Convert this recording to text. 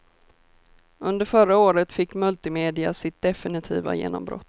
Under förra året fick multimedia sitt definitiva genombrott.